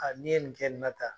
N'i ye nin kɛ nin na tan